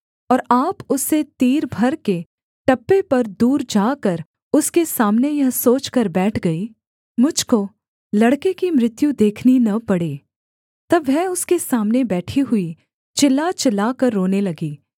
और आप उससे तीर भर के टप्पे पर दूर जाकर उसके सामने यह सोचकर बैठ गई मुझ को लड़के की मृत्यु देखनी न पड़े तब वह उसके सामने बैठी हुई चिल्ला चिल्लाकर रोने लगी